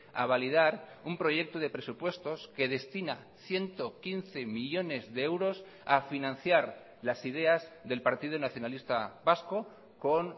a validar un proyecto de presupuestos que destina ciento quince millónes de euros a financiar las ideas del partido nacionalista vasco con